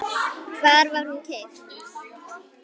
Hvar var hún keypt?